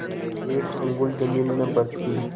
एक अंगुल जमीन न बचती